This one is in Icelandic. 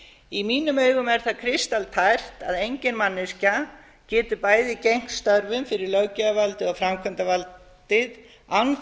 í mínum augum er það kristaltært að engin manneskja getur bæði gegnt störfum fyrir löggjafarvaldið og framkvæmdarvaldið án þess